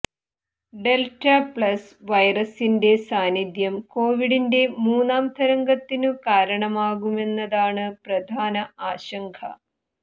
delta plus വൈറസിന്റെ സാന്നിധ്യം കോവിഡിന്റെ മൂന്നാം തരംഗത്തിനു കാരണമാകുമെന്നതാണ് പ്രധാന ആശങ്ക